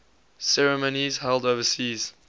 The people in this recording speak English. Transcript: ceremonies held overseas